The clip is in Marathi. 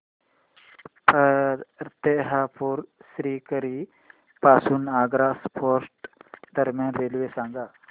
फतेहपुर सीकरी पासून आग्रा फोर्ट दरम्यान रेल्वे सांगा